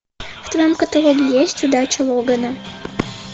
в твоем каталоге есть удача логана